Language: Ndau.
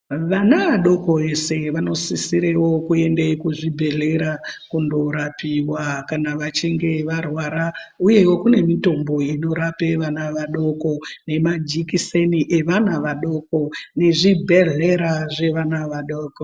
Vana adoko ese vanosisirewo kuende kuzvibhedhlera kundorapiwa kana vachinge varwara. Huyewo kune mitombo inorape vana vadoko, nemajikiseni evana vadoko, nezvibhedhlera zvevana vadoko.